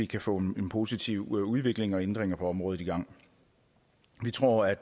kan få en positiv udvikling og ændringer på området i gang vi tror at